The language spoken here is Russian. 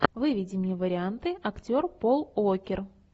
выведи мне варианты актер пол уокер